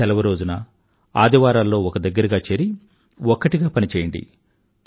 సెలవు రోజున ఆదివారాల్లో ఒక దగ్గర చేరి ఒక్కటిగా పనిచేయండి